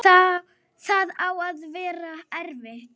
Það á að vera erfitt.